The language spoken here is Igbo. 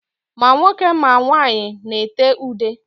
Ma nwoke ma nwaanyị na-ete ude.